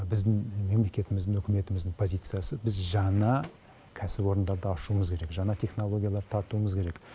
біздің мемлекетіміздің үкіметіміздің позициясы біз жаңа кәсіпорындарды ашуымыз керек жаңа технологиялар тартуымыз керек